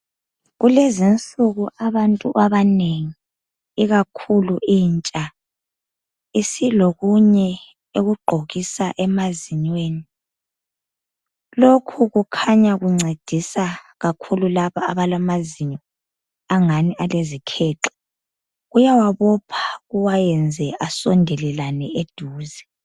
Kulezinsuku abantu abanengi ikakhulu intsha isilokunye ekugqokisa emazinyweni lokhu kukhanya kuncedisa kakhulu laba abalamazinyo angani alezikhexe kuyawabopha kuwayenze asondelelane eduze.